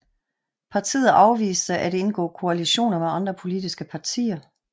Partiet afviste at indgå koalitioner med andre politiske partier